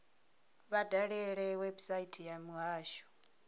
vha dalele website ya muhasho